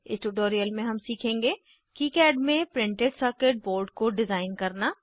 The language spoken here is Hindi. इस ट्यूटोरियल में हम सीखेंगे किकाड में प्रिंटेड सर्किट बोर्ड को डिज़ाइन करना